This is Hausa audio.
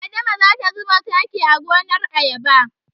Adama za ta zuba taki a gonar ayaba.